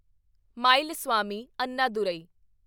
Mylswamy Annadurai